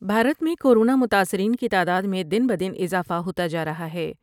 بھارت میں کورونا متاثرین کی تعداد میں دن بہ دن اضافہ ہوتا جارہا ہے ۔